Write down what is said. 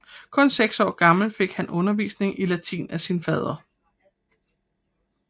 Kun seks år gammel fik han undervisning i latin af sin fader